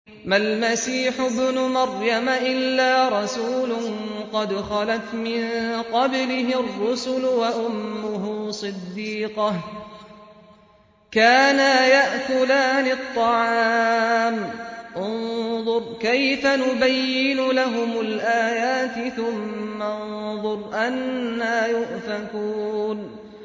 مَّا الْمَسِيحُ ابْنُ مَرْيَمَ إِلَّا رَسُولٌ قَدْ خَلَتْ مِن قَبْلِهِ الرُّسُلُ وَأُمُّهُ صِدِّيقَةٌ ۖ كَانَا يَأْكُلَانِ الطَّعَامَ ۗ انظُرْ كَيْفَ نُبَيِّنُ لَهُمُ الْآيَاتِ ثُمَّ انظُرْ أَنَّىٰ يُؤْفَكُونَ